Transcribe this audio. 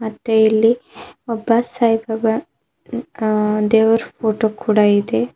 ಮತ್ತೆ ಇಲ್ಲಿ ಒಬ್ಬ ಸಾಯಿಬಾಬಾ ಹ್ಹ ದೇವರ್ ಫೋಟೋ ಕೂಡ ಇದೆ.